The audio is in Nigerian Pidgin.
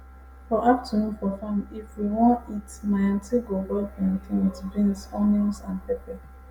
for afternoon for farm if we won eat my aunty go boil plantain with beans onions and pepper